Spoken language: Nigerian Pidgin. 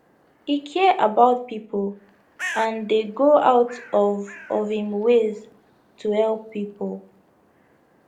e care about pipo and dey go out of of im ways to help pipo